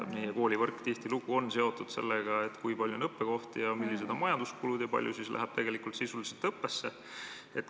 Meie koolivõrk on tihtilugu seotud sellega, kui palju on õppekohti ja millised on majanduskulud ja kui palju läheb siis tegelikult sisuliselt õppesse.